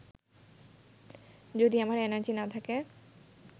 যদি আমার এনার্জি না থাকে